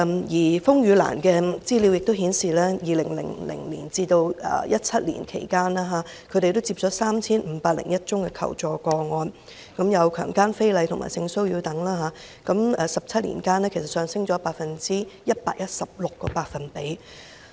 而風雨蘭的資料也顯示 ，2000 年至2017年期間，他們接獲 3,501 宗求助個案，包括強姦、非禮和性騷擾等，數目在17年間上升了 116%。